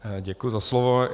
Děkuji za slovo.